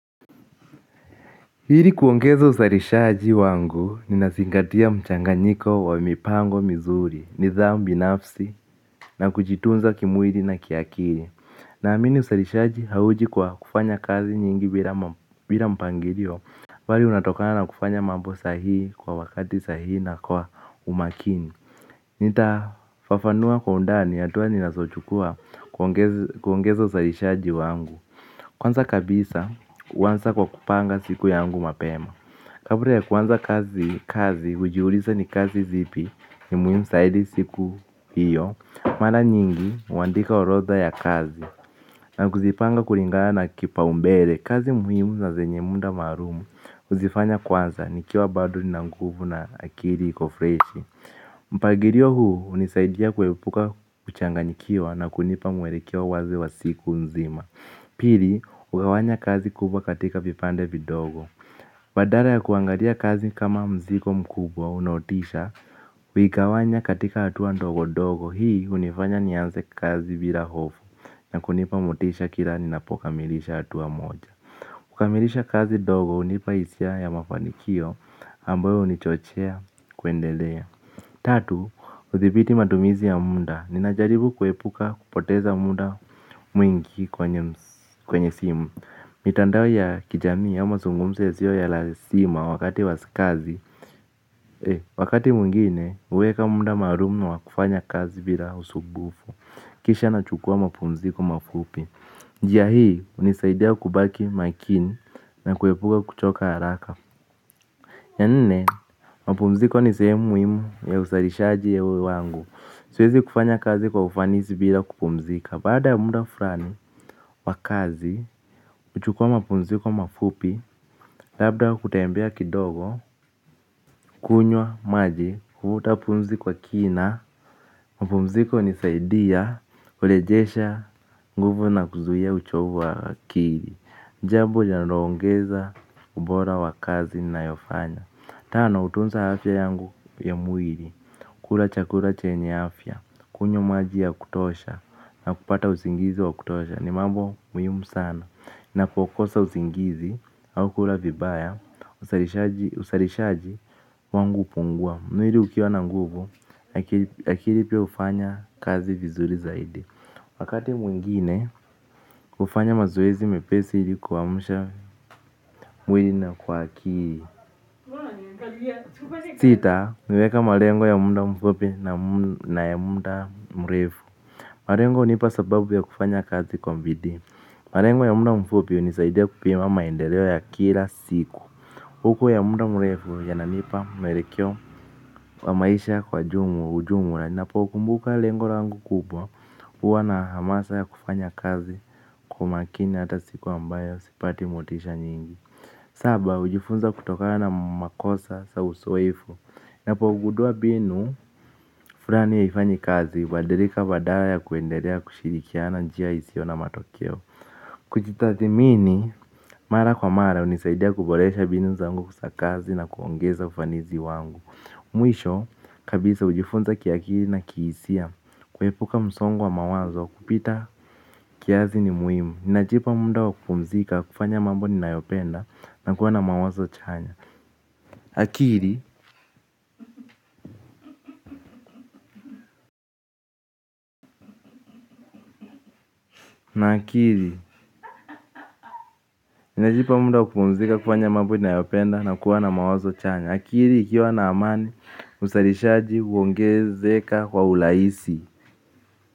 Ili kuongeza uzalishaji wangu nazingatia mchanganyiko wa mipango mizuri nidhamu binafsi na kujitunza kimwili na kiakili. Naamini uzalishaji hauji kwa kufanya kazi nyingi bila mpangirio, bali unatokana na kufanya mambo sahihi kwa wakati sahihi na kwa umakini. Nitafafanua kwa undani, hatua ninazochukua kuongeza uzalishaji wangu. Kwanza kabisa, huanza kwa kupanga siku yangu mapema. Kabla ya kuanza kazi hujiuliza ni kazi zipi ni muhimu zaidi siku hio. Mara nyingi huandika orodha ya kazi na kuzipanga kipaumbele. Mpangilio huu hunisaidia kuepuka kuchanganyikiwa na kunipa mwelekeo wazi wa siku nzima. Pili hugawanya kazi kubwa katika vipande vidogo. Badala ya kuangalia kazi kama mzigo mkubwa unaotisha, huigawanya katika hatua ndogo ndogo, hii hunifanya nianze kazi bila hofu na kunipa motisha kila ninapokamilisha hatua moja. Kukamilisha kazi ndogo hunipa hisia ya mafanikio ambayo hunichochea kuendelea. Tatu, hudhibiti matumizi ya muda, ninajaribu kuepuka kupoteza muda mwingi kwenye simu. Mitandao ya kijamii au mazungumzo yasio ya lazima wakati wakazi. Wakati mwingine, huweka muda maalum na wakufanya kazi bila usumbufu. Kisha nachukua mapumziko mafupi, njia hii hunisaidia kubaki makini na kuepuka kuchoka haraka. Ya nne, mapumziko ni sehemu muhimu ya uzalishaji wangu. Siwezi kufanya kazi kwa ufanisi bila kupumzika. Baada ya muda fulani, wa kazi, huchukua mapumziko mafupi. Labda kutembea kidogo, kunywa, maji, kufuta pumzi kwa kina, mapumziko hunisaidia, kurejesha nguvu na kuzuia uchovu wa akili. Njambo linaloongeza ubora wa kazi nayofanya. Tano, hutunza afya yangu ya mwili, kula chakula chenye afya, kunywa maji ya kutosha, na kupata usingizi wa kutosha, ni mambo muhim sana. Napokosa usingizi, au kula vibaya, uzalishaji wangu hupungua. Mwili ukiwa na nguvu, akili pia hufanya kazi vizuri zaidi. Wakati mwingine, hufanya mazoezi mepesi ili kuamsha mwili na kwa akili. Sita, kuweka malengo ya muda mfupi na ya muda mrefu. Marengo hunipa sababu ya kufanya kazi kwa bidii. Malengo ya muda mfupi hunisaidia kupima maendeleo ya kila siku. Huku ya muda mrefu yananipa mwelekeo wa maisha kwa hujumu. Ninapo kumbuka lengo langu kubwa huwa na hamasa ya kufanya kazi kwa makini hata siku ambayo sipati motisha nyingi. Saba, hujifunza kutokana na makosa za uzoefu. Napogundua mbinu fulani haifanyi kazi, hubadilika badala ya kuendelea kushirikia na njia isio na matokeo. Kujitathmini mara kwa mara, hunisaidia kuboresha mbinu zangu za kazi na kuongeza ufanisi wangu. Mwisho kabisa hujifunza ki akili na kihisia, kuepuka msongo wa mawazo kupita. Kiasi ni muhimu. Ninajipa muda wa kupumzika kufanya mambo ninayopenda na kuwa na mawazo chanya. Akili, na akili. Ninajipa muda wa kupumzika kufanya mambo ninayopenda na kuwa na mawazo chanya. Akili, ikiwa na amani uzalishaji huongezeka kwa urahisi.